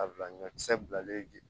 A bila ɲɔkisɛ bilalen